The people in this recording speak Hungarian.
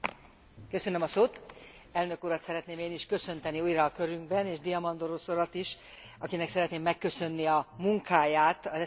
Elnök Urat szeretném én is köszönteni újra körünkben és Diamandurosz Urat is, akinek szeretném megköszönni a munkáját az SD frakció nevében.